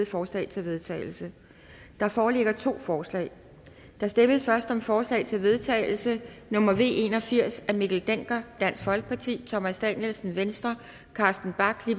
forslag til vedtagelse der foreligger to forslag der stemmes først om forslag til vedtagelse nummer v en og firs af mikkel dencker thomas danielsen carsten bach